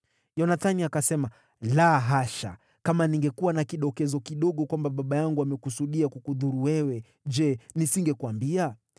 Yonathani akasema, “La hasha! Kama ningekuwa na kidokezo kidogo kwamba baba yangu amekusudia kukudhuru wewe, je, nisingekuambia?”